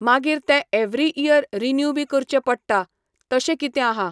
मागीर तें every year renew बी करचें पडटा, तशें कितें हा